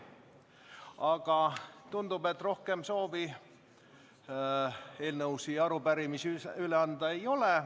Aga tundub, et rohkem soovi eelnõusid ja arupärimisi üle anda ei ole.